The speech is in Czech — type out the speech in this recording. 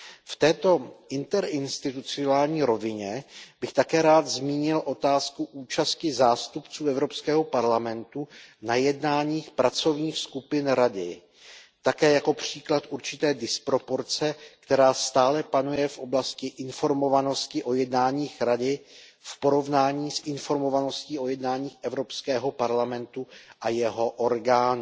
V této interinstitucionální rovině bych také rád zmínil otázku účasti zástupců Evropského parlamentu na jednáních pracovních skupin Rady, také jako příklad určité disproporce, která stále panuje v oblasti informovanosti o jednáních Rady v porovnání s informovaností o jednáních Evropského parlamentu a jeho orgánů.